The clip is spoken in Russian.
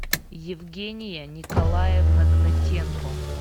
евгения николаевна гнатенко